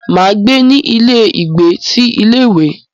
Máa gbé ní ilé ìgbé ti ilé ìwé.